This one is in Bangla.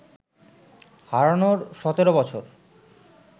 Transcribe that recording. হারানোর সতেরো বছর